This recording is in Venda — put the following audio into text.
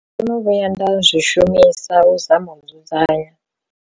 Ndo no vhuya nda zwi shumisa u zama u dzudzanya.